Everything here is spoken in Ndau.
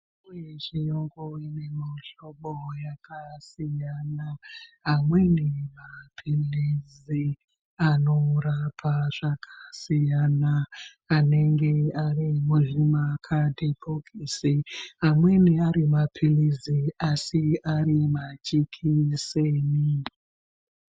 Mitombo yechiyungu ine muhlobo yakasiyana. Amweni maphilizi, anorapa zvakasiyana, anenge ari muzvimakhadhibhokisi, amweni ari maphilizi asi ari majekiseni.